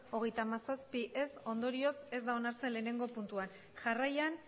hogeita hamazazpi ondorioz ez da onartzen lehenengo puntua jarraian